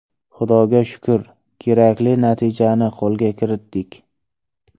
Xudoga shukr, kerakli natijani qo‘lga kiritdik.